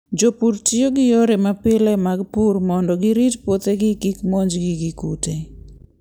Jopur tiyo gi yore mapile mag pur mondo girit puothegi kik monjgi gi kute.